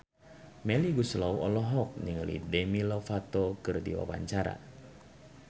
Melly Goeslaw olohok ningali Demi Lovato keur diwawancara